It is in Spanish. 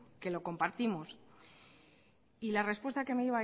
que lo compartimos y la respuesta que me